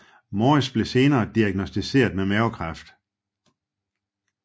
Morris blev senere diagnosticeret med mavekræft